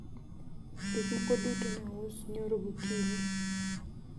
vitu vyote viliuzwa jana asubuhi